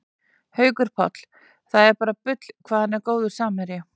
Haukur Páll, það er bara bull hvað hann er góður samherji